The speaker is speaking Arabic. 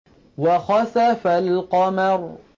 وَخَسَفَ الْقَمَرُ